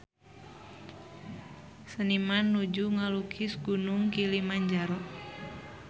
Seniman nuju ngalukis Gunung Kilimanjaro